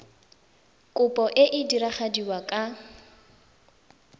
kopo e e diragadiwa ka